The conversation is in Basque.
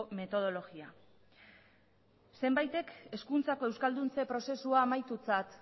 metodologia ere zenbaitek hezkuntzako euskalduntze prozesua amaitutzat